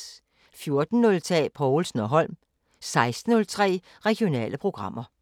14:03: Povlsen & Holm 16:03: Regionale programmer